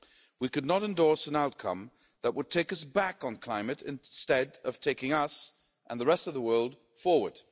We could not endorse an outcome that would take us back on climate instead of taking us, and the rest of the world, forward.